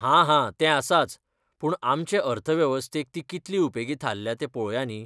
हा हा, तें आसाच, पूण आमचे अर्थवेवस्थेक ती कितली उपेगी थारल्या तें पळोवया न्ही.